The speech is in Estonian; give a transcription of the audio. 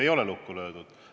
Ei ole lukku löödud.